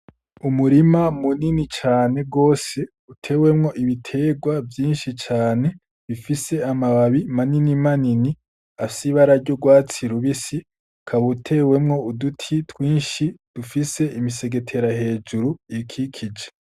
Umurima munini cane gose utewemwo ibiterwa vyinshi cane bifise amababi manini manini afise ibara ry'urwatsi rubisi ukaba utewemwo uduti twinshi dufise imisegetera hejuru iyikikije.